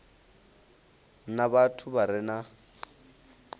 na vhathu vha re na